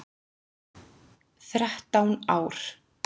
Þrettán ár.